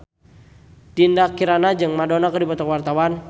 Dinda Kirana jeung Madonna keur dipoto ku wartawan